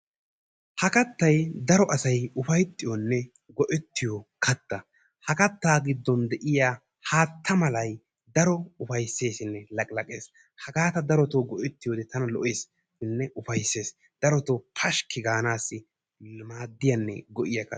Ha kattayi daro asayi ufayttiyonne go"ettiyo katta ha kattaa giddon de"iya haatta malayi daro ufaysseesinne laqilaqes. Hagaa ta darotoo go"ettiyode tana lo"esinne ufaysses darotoo pashkki gaanaassi maaddiyanne go"iyagaa.